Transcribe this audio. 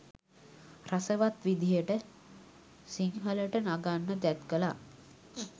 රසවත් විදිහට සිංහලට නගන්න තැත් කළා.